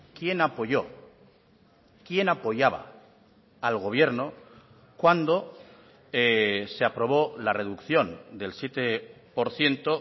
quién apoyó quién apoyaba al gobierno cuando se aprobó la reducción del siete por ciento